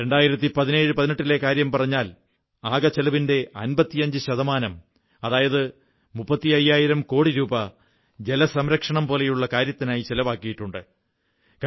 201718 ലെ കാര്യം പറഞ്ഞാൽ 64000 കോടി രൂപാ ആകെ ചിലവിന്റെ 55 ശതമാനം അതായത് ഏകദേശം മുപ്പത്തി അയ്യായിരം കോടി രൂപാ ജലസംരക്ഷണം പോലുള്ള കാര്യത്തിനായി ചിലവാക്കിയിട്ടുണ്ട്